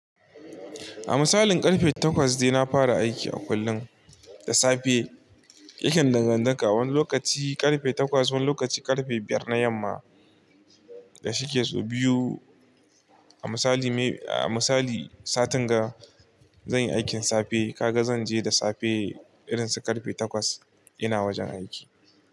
A misalin karfe takwas dai na fara aiki a kullun, da safe aikin dangantaka wani lokaci karfe takwas, wani lokaci karfe biyar na yamma, da shike so biyu. A misali, a misali satin ga zanyi aikin safe kaga zanje da safe irin su karfe takwas ina wajen aiki.